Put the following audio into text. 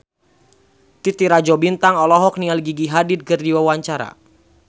Titi Rajo Bintang olohok ningali Gigi Hadid keur diwawancara